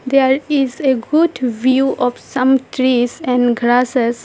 There is a good view of some trees and grasses.